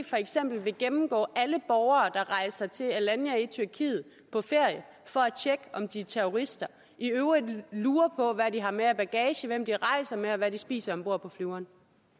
for eksempel vil gennemgå alle borgere der rejser til alanya i tyrkiet for at tjekke om de er terrorister og i øvrigt lure på hvad de har med af bagage hvem de rejser med og hvad de spiser om bord på flyveren